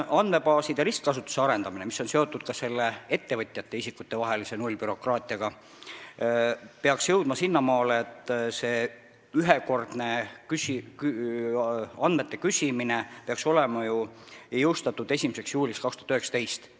Andmebaaside ristkasutuse arendamine, mis on ka seotud ettevõtjate ja isikute nullbürokraatiaga, peaks jõudma sinnamaale, et ühekordne andmete küsimine peaks olema ellu viidud 1. juuliks 2019.